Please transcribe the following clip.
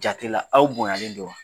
Jate la aw bonyalen do